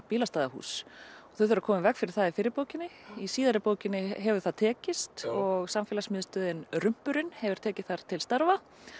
bílastæðahús þau þurfa að koma í veg fyrir það í fyrri bókinni í síðari bókinni hefur það tekist og samfélagsmiðstöðin Rumpurinn hefur tekið þar til starfa